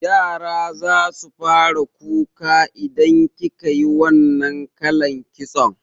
Yara zasu fara kuka idan kikayi wannan kalan kitson